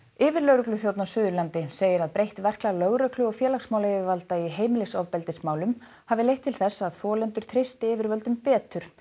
yfirlögregluþjónn á Suðurlandi segir að breytt verklag lögreglu og félagsmálayfirvalda í heimilisofbeldismálum hafi leitt til þess að þolendur treysti yfirvöldum betur